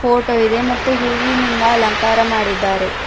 Photo ಇದೆ ಮತ್ತು ಹೂವಿನಿಂದ ಅಲಂಕಾರ ಮಾಡಿದ್ದಾರೆ.